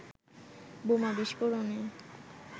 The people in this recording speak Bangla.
বোমা বিস্ফোরণে